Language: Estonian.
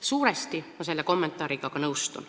Suuresti ma nõustun selle kommentaariga.